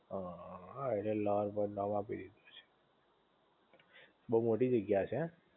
હ હ હા એટલે એને લવર પોઈન્ટ નામ આપી દીધું બોવ મોટી જગ્યા હશે એમ?